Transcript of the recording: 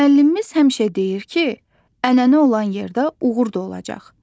Müəllimimiz həmişə deyir ki, ənənə olan yerdə uğur da olacaq.